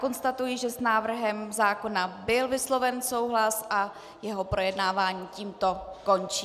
Konstatuji, že s návrhem zákona byl vysloven souhlas, a jeho projednávání tímto končím.